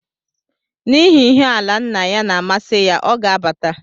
N’ihi ihe ala nna ya na-amasị ya, ọ ga abata